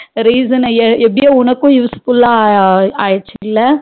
Reason னு எப்டியோ உனக்கும் useful லா அகிருச்சுல